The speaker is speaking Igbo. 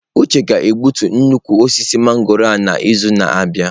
Uche ga-egbutu nnukwu osisi mangọrọ a n'izu na-abịa.